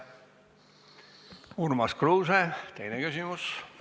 Urmas Kruuse, teine küsimus!